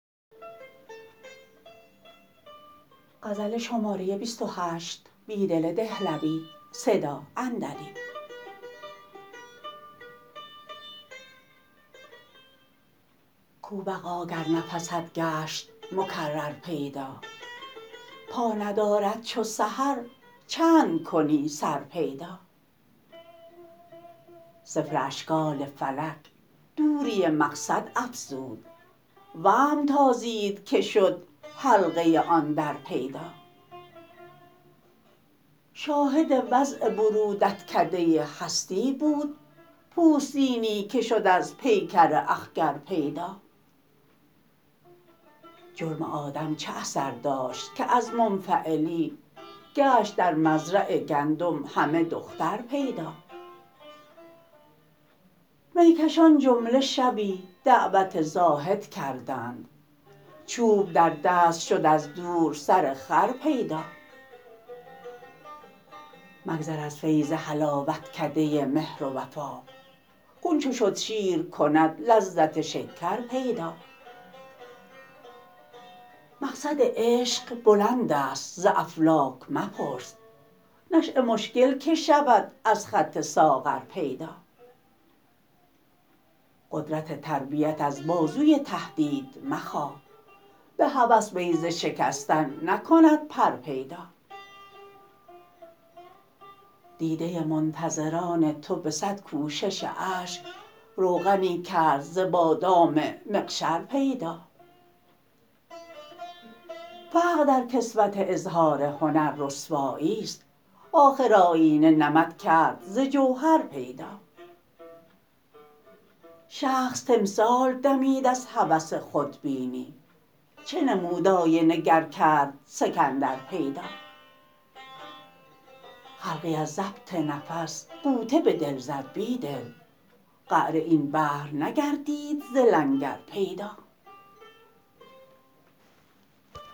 کو بقا گر نفست گشت مکرر پیدا پا ندارد چو سحر چند کنی سر پیدا صفر اشکال فلک دوری مقصد افزود وهم تازید که شد حلقه آن در پیدا شاهد وضع برودتکده هستی بود پوستینی که شد از پیکر اخگر پیدا جرم آدم چه اثر داشت که از منفعلی گشت در مزرع گندم همه دختر پید ا میکشان جمله شبی دعوت زاهد کردند چوب در دست شد از دور سر خر پیدا مگذر از فیض حلاوتکده مهر و وفاق خون چو شد شیر کند لذت شکر پیدا مقصد عشق بلند است ز افلاک مپرس نشیه مشکل که شود از خط ساغر پیدا قدرت تربیت از بازوی تهدید مخواه به هوس بیضه شکستن نکند پر پیدا دیده منتظران تو به صد کوشش اشک روغنی کرد ز بادام مقشر پیدا فقر در کسوت اظهار هنر رسوایی ست آخر آیینه نمد کرد ز جوهر پیدا شخص تمثال دمید از هوس خودبینی چه نمود آینه گر کرد سکندر پیدا خلقی از ضبط نفس غوطه به دل زد بیدل قعر این بحر نگردید ز لنگر پیدا